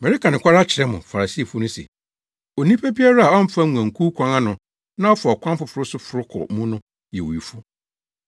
“Mereka nokware akyerɛ mo Farisifo no se, onipa biara a ɔmfa nguankuw kwan ano na ɔfa ɔkwan foforo so foro kɔ mu no yɛ owifo.